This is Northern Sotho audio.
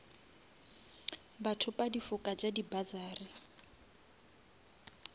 bathopa difoka tša di bursary